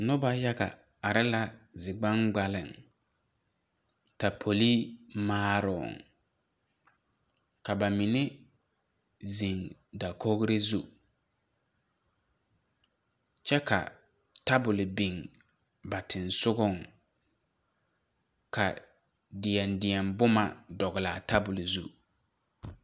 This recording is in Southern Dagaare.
Noba yaga are la zi gbaŋgbaleŋ tapolee maarooŋ ka ba mine zeŋ dakogre zu kyɛ ka tabol biŋ ba seŋsugɔŋ ka deɛdeɛ bomma dɔglaa tabol zu.